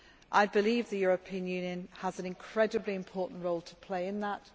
I believe the European Union has an incredibly important role to play in that.